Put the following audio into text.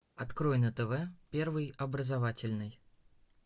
открой на тв первый образовательный